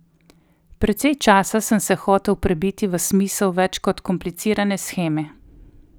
Precej časa sem se hotel prebiti v smisel več kot komplicirane sheme.